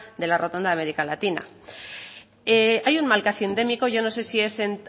de la rotonda de américa latina hay un mal casi endémico yo no sé si es